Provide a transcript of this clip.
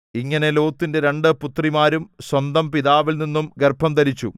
ഇങ്ങനെ ലോത്തിന്റെ രണ്ട് പുത്രിമാരും സ്വന്തം പിതാവിൽനിന്നും ഗർഭംധരിച്ചു